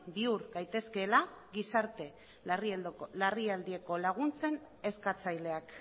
bihur gaitezkeela gizarte larrialdietarako laguntzen eskatzaileak